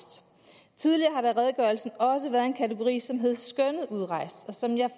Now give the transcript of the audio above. tidligere har der i redegørelsen også været en kategori som hed skønnet udrejst og som jeg